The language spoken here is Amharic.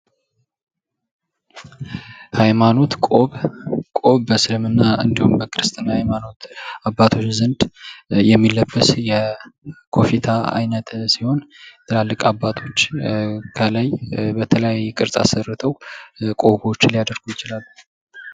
ሃይማኖት ቆብ በእስልምና እንዲሁም በክርስትና አባቶች ዘንድ የሚደረግ የኮፊታ አይነት ሲሆን አባቶች ከላይ በተለያዩ ቅርጽ ሰርተው ሊያደርጉ ይችላሉ፡፡